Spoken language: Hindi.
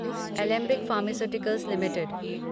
Alembic pharmaceuticals limited